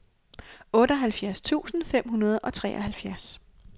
otteoghalvfjerds tusind fem hundrede og treoghalvfjerds